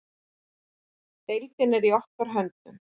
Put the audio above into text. Deildin er í okkar höndum.